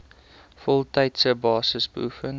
voltydse basis beoefen